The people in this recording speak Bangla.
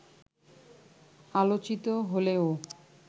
আলোচিত হলেও